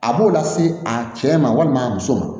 A b'o lase a cɛ ma walima a muso ma